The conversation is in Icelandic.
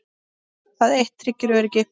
Það eitt tryggir öryggi.